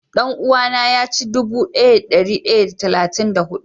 Dan-uwa na ya ci dubu daya da dari daya da talatin da hudu.